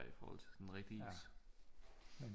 Ja i forhold til sådan rigtig